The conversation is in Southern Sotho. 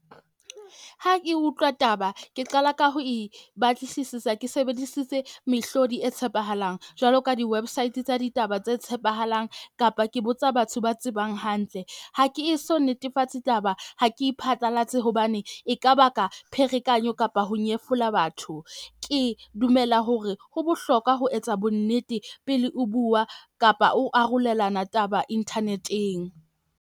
Ha ke utlwa taba, ke qala ka ho Ibatlisisisa ke sebedisitse mehlodi e tshepahalang jwalo ka di-website tsa ditaba tse tshepahalang. Kapa ke botsa batho ba tsebang hantle. Ha ke eso netefatse taba ha ke e phatlalatse hobane e ka baka pherekanyo kapa ho nyefola batho. Ke dumela hore ho bohlokwa ho etsa bonnete pele o bua kapa o arolelana taba internet-eng.